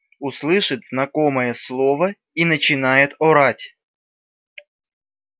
услышит знакомое слово и начинает орать